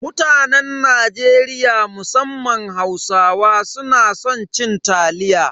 Mutanen Najeriya musamman Hausawa suna san cin taliya.